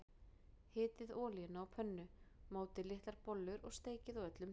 Hitið olíuna á pönnu, mótið litlar bollur og steikið á öllum hliðum.